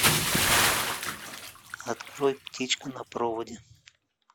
открой птичка на проводе